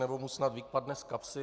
Nebo mu snad vypadne z kapsy?